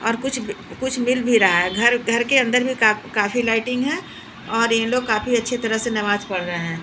और कुछ कुछ मिल भी रहा है घर घर घर के अंदर भी काफी लाइटिंग है और ये लोग काफी अच्छी तरह से नमाज पढ़ रहे हैं।